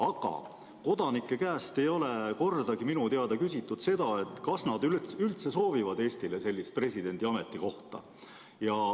Aga kodanike käest ei ole minu teada kordagi küsitud seda, kas nad üldse soovivad, et Eestis oleks presidendi ametikoht.